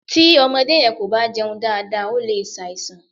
Tí ọmọdé yẹn kò bá jẹun dáadáa ó lè ṣàìsàn.